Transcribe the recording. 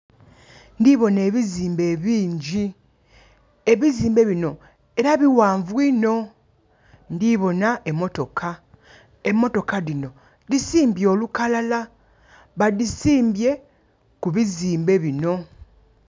Ndhi bona ebizimbe ebingyi. Ebizimbe binho era bighanvu inho. Ndhi bona emotoka, emotoka dhino dhisimbye olukalala. Badhisimbye ku bizimbe bino.